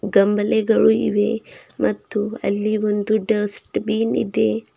ಕಂಬನೆಗಳು ಇವೆ ಮತ್ತು ಅಲ್ಲಿ ಒಂದು ಡಸ್ಟ್ ಬಿನ್ ಇದೆ.